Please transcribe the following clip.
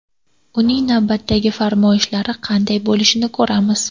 Uning navbatdagi farmoyishlari qanday bo‘lishini ko‘ramiz.